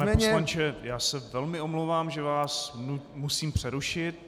Pane poslanče, já se velmi omlouvám, že vás musím přerušit.